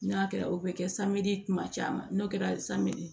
N'a kɛra o bɛ kɛ kuma caman n'o kɛra